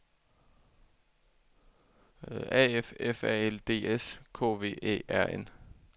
A F F A L D S K V Æ R N